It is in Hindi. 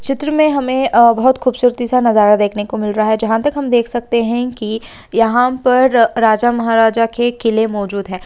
चित्र में हमें अ बहुत खूबसूरती नजारा देखने को मिल रहा है | जहाँ तक हम देख सकते हैं कि यहाँ पर राजा-महाराजा के किले मौजूद है।